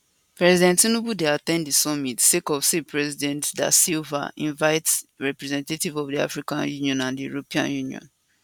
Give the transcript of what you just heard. president tinubu dey at ten d di summit sake of say president da silva invite representatives of di african union and di european union